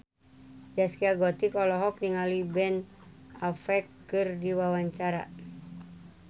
Zaskia Gotik olohok ningali Ben Affleck keur diwawancara